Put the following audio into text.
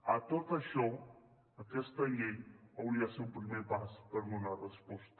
a tot això aquesta llei hauria de ser un primer pas per donar resposta